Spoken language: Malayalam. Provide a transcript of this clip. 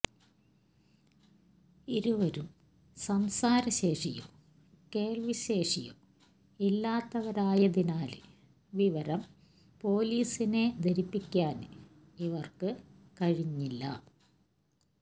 ഇരുവരും സംസാരശേഷിയോ കേള്വിശേഷിയോ ഇല്ലാത്തവരായതിനാല് വിവരം പൊലീസിനെ ധരിപ്പിക്കാന് ഇവര്ക്ക് കഴിഞ്ഞില്ല